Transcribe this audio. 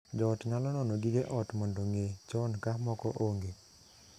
Joot nyalo nono gige ot mondo ng'ee chon ka moko onge.